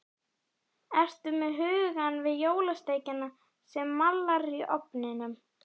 Ertu með hugann við jólasteikina sem mallar í ofninum?